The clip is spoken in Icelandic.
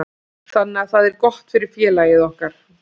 Þannig að það er gott fyrir félagið okkar.